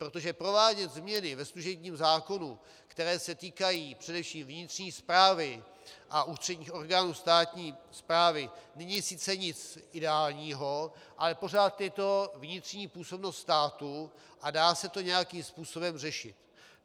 Protože provádět změny ve služebním zákonu, které se týkají především vnitřní správy a ústředních orgánů státní správy, není sice nic ideálního, ale pořád je to vnitřní působnost státu a dá se to nějakým způsobem řešit.